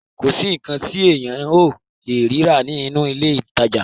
Kò sí nǹkan tí èèyàn ò lè rí rà nínú ilé ìtajà.